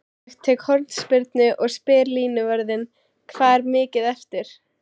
Ég tek hornspyrnu og spyr línuvörðinn: Hvað er mikið eftir?